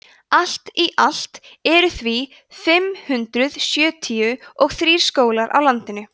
allt í allt eru því fimm hundruð sjötíu og þrír skólar á landinu